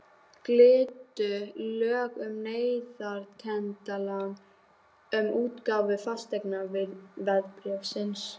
Giltu lög um neytendalán um útgáfu fasteignaveðbréfsins?